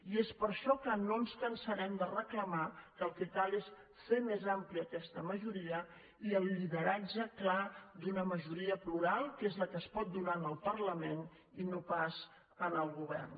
i és per això que no ens cansarem de reclamar que el que cal és fer més àmplia questa majoria i el lideratge clar d’una majoria plural que és la que es pot donar al parlament i no pas al govern